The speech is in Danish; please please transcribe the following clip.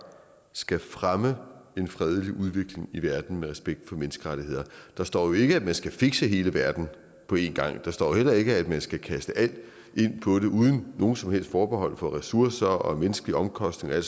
skal fremme en fredelig udvikling i verden med respekt for menneskerettighederne der står jo ikke at man skal fikse hele verden på en gang der står heller ikke at man skal kaste alt ind på det uden nogen som helst forbehold for ressourcer menneskelige omkostninger